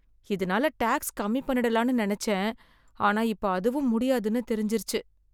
இதனால டேக்ஸ் கம்மி பண்ணிடலாம்னு நெனச்சேன், ஆனா இப்ப அதுவும் முடியாதுன்னு தெரிஞ்சுருச்சு.